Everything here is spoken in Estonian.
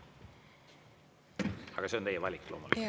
Aga see on teie valik loomulikult.